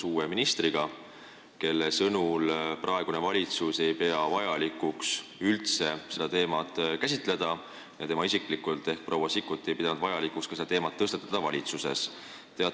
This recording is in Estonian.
Uue ministri proua Sikkuti sõnul ei pea praegune valitsus selle teema käsitlemist üldse vajalikuks ja tema isiklikult leidis, et pole vaja seda ka valitsuses arutada.